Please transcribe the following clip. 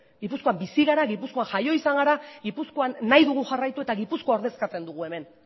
gipuzkoan bizi gara gipuzkoan jaio izan gara gipuzkoan nahi dugu jarraitu eta gipuzkoa ordezkatzen dugu hemen